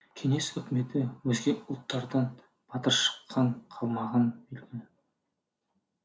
кеңес үкіметі өзге ұлттардан батыр шыққанын қаламағаны белгілі